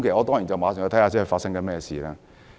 當然，我馬上查證發生甚麼事。